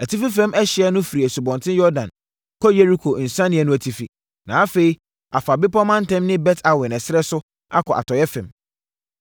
Atifi fam ɛhyeɛ no firi Asubɔnten Yordan kɔ Yeriko nsianeɛ no atifi, na afei, afa bepɔ mantam ne Bet-Awen ɛserɛ so akɔ atɔeɛ fam.